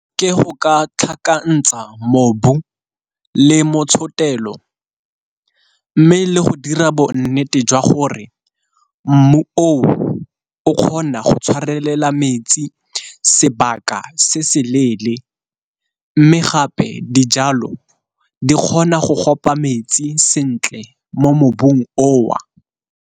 Ke go ka tlhakanetsa ka mobu le motshotelo, mme le go dira bonnete jwa gore mmu o kgona go tshwarelela metsi sebaka se se leele, mme gape dijalo di kgona go kopa metsi sentle mo mobung o o.